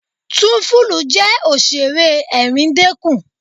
Túńfúlù jẹ́ Òṣẹ̀ré ẹ̀ríndẹkún.